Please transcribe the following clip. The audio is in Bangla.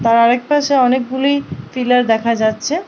তার আর এক পাশে অনেকগুলি পিলার দেখা যাচ্ছে।